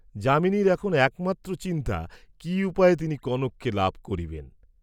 যামিনীর এখন একমাত্র চিন্তা কি উপায়ে তিনি কনককে লাভ করিবেন।